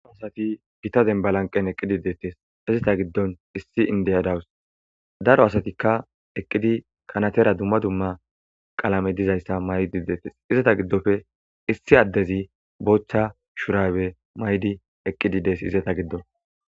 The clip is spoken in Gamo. Daro asati gitta dembalanqen eqqidi deettes izeta giddon issi indeyadawus daro asatikka eqqidi kanatera dumma dumma qalame dizayssa maydi deetes izata giddofe issi addezi bochcha shurawe maydi eqqidi dees izata giddon